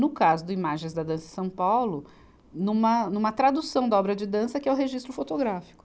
No caso do Imagens da Dança em São Paulo, numa, numa tradução da obra de dança que é o registro fotográfico.